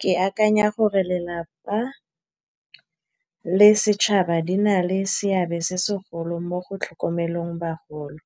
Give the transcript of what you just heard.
Ke akanya gore lelapa le setšhaba di na le seabe se segolo mo go tlhokomeleng bagolo.